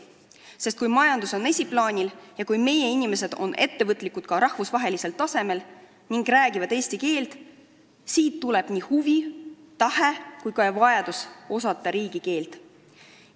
Sest kui majandus on esiplaanil ja kui meie inimesed on ettevõtlikud ka rahvusvahelisel tasemel ning räägivad eesti keelt, siis sellest tuleb nii huvi, tahe kui ka vajadus osata riigikeelt.